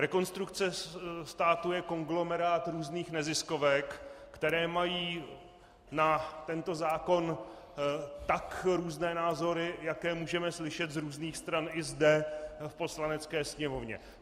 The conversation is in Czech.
Rekonstrukce státu je konglomerát různých neziskovek, které mají na tento zákon tak různé názory, jaké můžeme slyšet z různých stran i zde v Poslanecké sněmovně.